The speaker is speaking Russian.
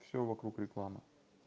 всё вокруг рекламы